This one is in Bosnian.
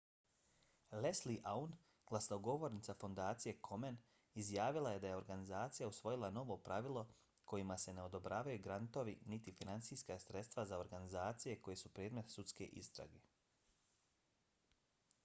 leslie aun glasnogovornica fondacije komen izjavila je da je organizacija usvojila novo pravilo kojima se ne odobravaju grantovi niti finansijska sredstva za organizacije koje su predmet sudske istrage